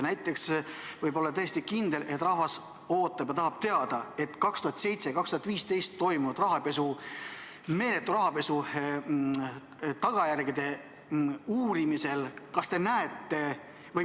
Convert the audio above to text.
Näiteks võib olla täiesti kindel, et rahvas ootab ja tahab teada 2007–2015 toimunud rahapesu, meeletu rahapesu tagajärgede uurimise kohta.